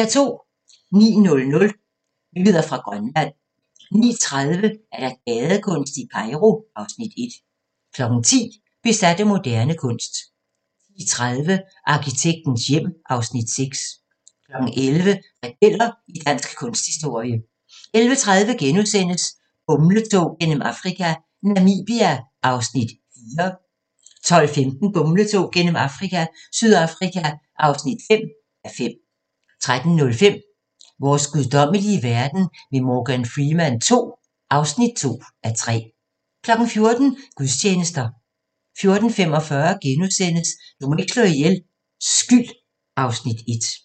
09:00: Nyheder fra Grønland 09:30: Gadekunst i Kairo (Afs. 1) 10:00: Besat af moderne kunst 10:30: Arkitektens hjem (Afs. 6) 11:00: Rebeller i dansk kunsthistorie 11:30: Bumletog gennem Afrika - Namibia (4:5)* 12:15: Bumletog gennem Afrika – Sydafrika (5:5) 13:05: Vores guddommelige verden med Morgan Freeman II (2:3) 14:00: Gudstjenester 14:45: Du må ikke slå ihjel – Skyld (Afs. 1)*